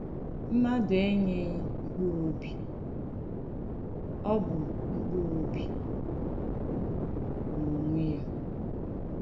Mmàdù ènyèghì mkpùrù òbì; ọ̀ bụ̀ mkpùrù òbì n’ònwè ya.